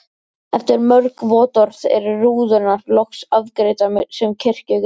Eftir mörg vottorð eru rúðurnar loks afgreiddar sem kirkjugripir.